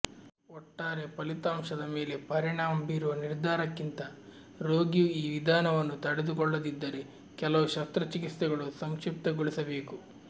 ಒಟ್ಟಾರೆ ಫಲಿತಾಂಶದ ಮೇಲೆ ಪರಿಣಾಮ ಬೀರುವ ನಿರ್ಧಾರಕ್ಕಿಂತ ರೋಗಿಯು ಈ ವಿಧಾನವನ್ನು ತಡೆದುಕೊಳ್ಳದಿದ್ದರೆ ಕೆಲವು ಶಸ್ತ್ರಚಿಕಿತ್ಸೆಗಳು ಸಂಕ್ಷಿಪ್ತಗೊಳಿಸಬೇಕು